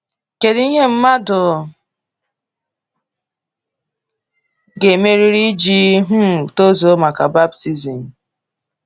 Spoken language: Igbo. Kedu ihe mmadụ ga-emerịrị iji um tozuo maka baptizim?